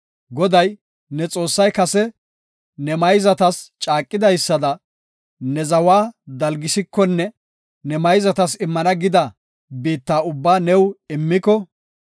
Goday, ne Xoossay kase ne mayzatas caaqidaysada ne zawa dalgisikonne ne mayzatas immana gida biitta ubbaa new immiko,